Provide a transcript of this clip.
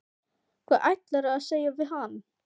Hvað ætlarðu að segja við hann?